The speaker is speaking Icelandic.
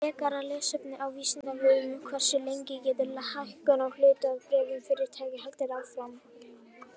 Frekara lesefni á Vísindavefnum: Hversu lengi getur hækkun á hlutabréfum fyrirtækja haldið áfram?